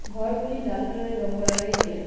ঘরগুলি লাল কালারের রং করা রয়েছে।